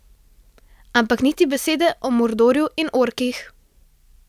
Ampak niti besede o Mordorju in orkih!